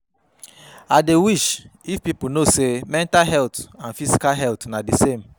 I dey wish if people know say mental health and physical health na di same.